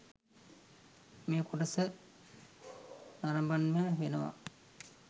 මේ කොටස නරබන්නම වෙනවා.